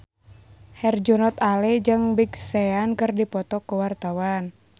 Herjunot Ali jeung Big Sean keur dipoto ku wartawan